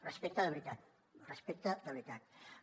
respecte de veritat respecte de veritat